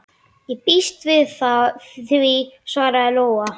Ég býst við því, svaraði Lóa.